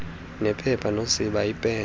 nephepha nosiba iipen